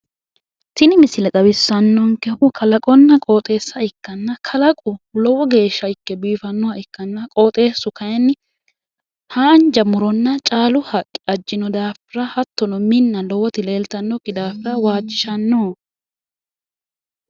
Tini misile xawissannonkehu kalaqonna qooxeessa ikkanna kalaqu lowo geshsha ikke biifannoha ikkanna qooxeessu kayinni haanja muronna caalu haqqe ajjino daafira hattono minna lowoti leeltannokki daafira lowo geshsha waajjishanno.